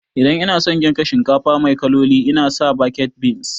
Idan ina son girka shinkafa mai kaloli ina sa baked beans